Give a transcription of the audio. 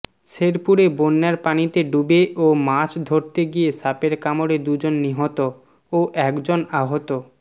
শেরপুরে বন্যার পানিতে ডুবে ও মাছ ধরতে গিয়ে সাপের কামড়ে দুজন নিহত ও একজন আহত